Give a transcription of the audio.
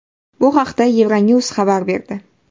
Bu haqda Euronews xabar berdi .